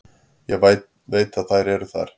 Ég veit að þær eru þar.